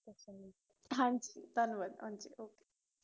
ਹਾਂਜੀ ਧੰਨਵਾਦ ok